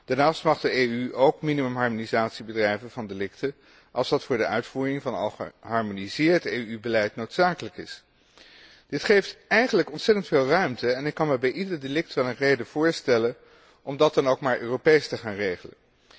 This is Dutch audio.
Daarnaast mag de EU ook minimumharmonisatie bedrijven van delicten als dat voor de uitvoering van al geharmoniseerd EU beleid noodzakelijk is. Dit geeft eigenlijk ontzettend veel ruimte, en ik kan me bij ieder delict wel een reden voorstellen om dat dan ook maar Europees te gaan regelen.